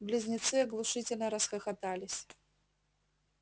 близнецы оглушительно расхохотались